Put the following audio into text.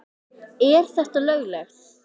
Er þetta löglegt?